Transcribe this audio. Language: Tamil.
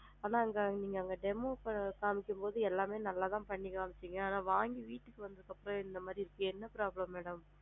அதான் நீங்க அங்க demo காமிக்கும் போது எல்லாமே நல்லா தான் பண்ணி காம்மிச்சிங்க, ஆனா! வாங்கிட்டு வீட்டுக்கு வந்ததுக்கு அப்பறம் இந்த மாதிரி இருக்கு என்ன problem madam